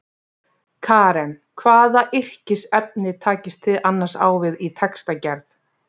Karen: Hvaða yrkisefni takist þið annars á við í textagerð?